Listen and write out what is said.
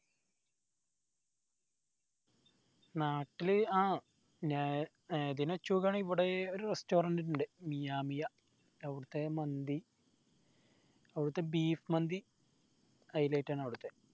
നാട്ടില് ആഹ് ഇവിടെ ഒരു restaurant ഇണ്ട് മിയാ മായി അവിടത്തെ മന്തി അവിടത്തെ beef മന്തി highlight ആൺ അവിടത്തെ